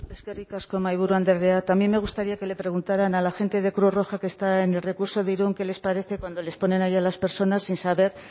eskerrik asko mahaiburu andrea también me gustaría que le preguntaran a la gente de cruz roja que está en el recurso de irun qué les parece cuando les ponen ahí a las personas sin saber